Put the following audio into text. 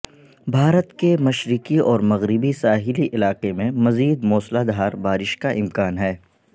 بھارت کے مشرقی اور مغربی ساحلی علاقے میں مزید موسلادھار بارش کا امکان ہے